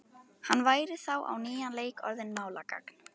Hann væri þá á nýjan leik orðinn málgagn.